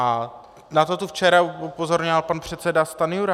A na to tu včera upozorňoval pan předseda Stanjura.